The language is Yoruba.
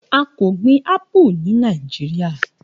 A ko gbin apu ni Niajiria.